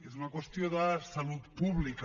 és una qüestió de salut pública